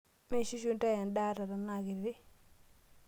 Miishushu inta endaa ata tenaa kiti?